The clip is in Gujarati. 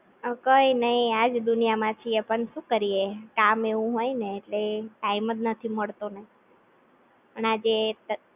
કઈ નહિ આજ દુનિયામાં છીએ પણ શું કરીએ કામ એવું હોયને એટલે Time જ નથી મળતો અને આ જે